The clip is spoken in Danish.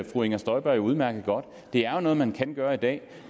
fru inger støjberg jo udmærket godt det er jo noget man kan gøre i dag